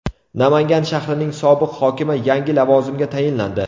Namangan shahrining sobiq hokimi yangi lavozimga tayinlandi.